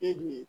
E dun ye